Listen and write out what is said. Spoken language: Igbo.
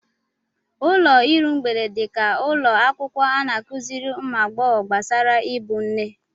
Ụlọ iru mgbede dị ka ụlọ akwụkwọ a na-akụziri ụmụ agbọghọ gbasara ịbụ nne.